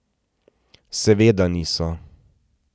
Seveda niso.